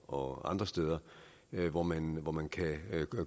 og andre steder hvor man hvor man kan